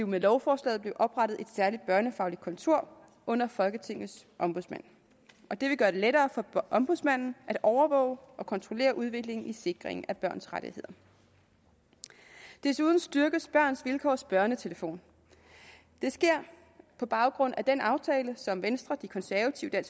med lovforslaget blive oprettet et særligt børnefagligt kontor under folketingets ombudsmand og det vil gøre det lettere for ombudsmanden at overvåge og kontrollere udviklingen i sikringen af børns rettigheder desuden styrkes børns vilkårs børnetelefon det sker på baggrund af den aftale som venstre de konservative